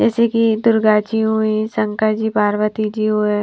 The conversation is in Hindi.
जैसे कि दुर्गा जी हुईं शंकर जी पार्वती जी हुए --